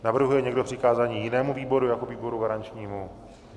Navrhuje někdo přikázání jinému výboru jako výboru garančnímu?